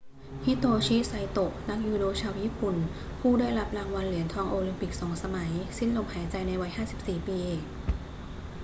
ฮิโตชิ ไซโตะ นักยูโดชาวญี่ปุ่นผู้ได้รับรางวัลเหรียญทองโอลิมปิก 2 สมัย สิ้นลมหายใจในวัย 54 ปี